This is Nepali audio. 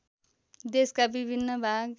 देशका विभिन्न भाग